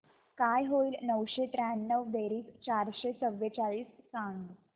काय होईल नऊशे त्र्याण्णव बेरीज चारशे चव्वेचाळीस सांग